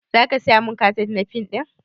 Za ka saya mun kaset na fim ɗin